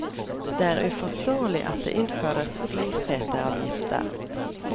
Det er uforståelig at det innføres flyseteavgifter.